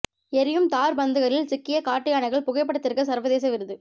எரியும் தார் பந்துகளில் சிக்கிய காட்டு யானைகள் புகைப்படத்திற்கு சர்வதேச விருது